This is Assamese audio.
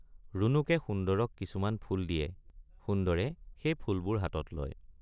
ৰুণুকে সুন্দৰক কিছুমান ফুল দিয়ে সুন্দৰে সেই ফুলবোৰ হাতত লয়।